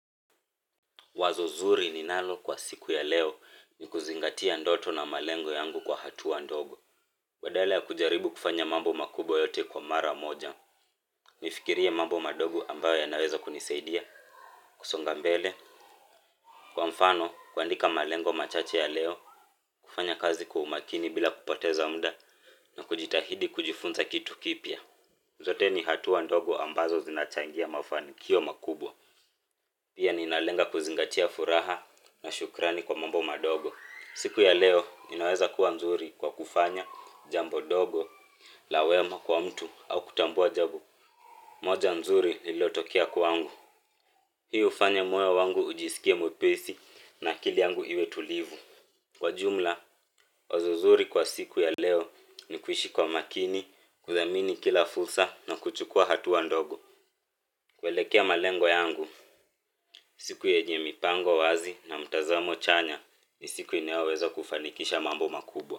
Wazo zuri ninalo kwa siku ya leo ni kuzingatia ndoto na malengo yangu kwa hatua ndogo. Badala ya kujaribu kufanya mambo makubwa yote kwa mara moja. Nifikirie mambo madogo ambayo yanaweza kunisaidia. Kusonga mbele, kwa mfano, kuandika malengo machache ya leo, kufanya kazi kwa umakini bila kupoteza muda na kujitahidi kujifunza kitu kipya. Zote ni hatua ndogo ambazo zinachangia mafanikio makubwa. Pia ninalenga kuzingatia furaha na shukrani kwa mambo madogo. Siku ya leo inaweza kuwa nzuri kwa kufanya jambo dogo la wema kwa mtu au kutambua jambo. Moja nzuri lililotokea kwangu hii hufanya moyo wangu ujisikie mwepesi na akili yangu iwe tulivu. Kwa jumla, wazo zuri kwa siku ya leo ni kuishi kwa makini, kudhamini kila fursa na kuchukua hatua ndogo kuelekea malengo yangu, siku yenye mipango wazi na mtazamo chanya ni siku inayoweza kufanikisha mambo makubwa.